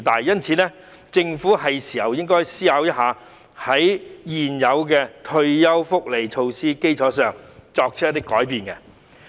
因此，政府是時候思考如何在現有的退休福利措施基礎上作出改變。